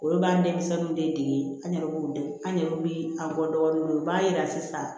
Olu b'an denmisɛnninw de dege an yɛrɛ b'u dege an yɛrɛ bɛ an bɔ dɔgɔninw ye u b'a yira sisan